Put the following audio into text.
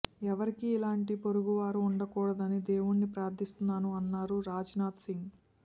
ఎవరికి ఇలాంటి పొరుగువారు ఉండకూడదని దేవుడిని ప్రార్థిస్తున్నాను అన్నారు రాజ్నాధ్ సింగ్